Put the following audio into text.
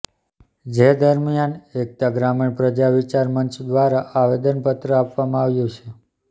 જે દરમિયાન એકતા ગ્રામીણ પ્રજા વિચાર મંચ દ્વારા આવેદન પત્ર આપવામાં આવ્યું છે